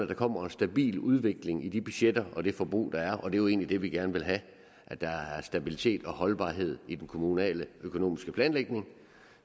der kommer en stabil udvikling i de budgetter og det forbrug der er og det er jo egentlig det vi gerne vil have at der er stabilitet og holdbarhed i den kommunale økonomiske planlægning